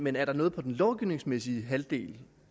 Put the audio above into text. men er der noget i den lovgivningsmæssige halvdel